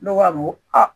Ne b'a fɔ ko aa